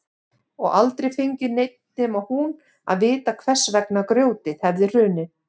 Og aldrei fengi neinn nema hún að vita hvers vegna grjótið hefði hrunið.